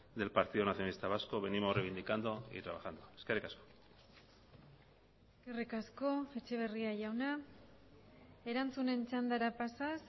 del partido nacionalista vasco venimos reivindicando y trabajando eskerrik asko eskerrik asko etxeberria jauna erantzunen txandara pasaz